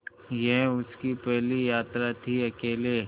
यह उसकी पहली यात्रा थीअकेले